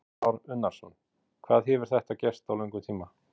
Kristján Már Unnarsson: Hvað hefur þetta gerst á löngum tíma?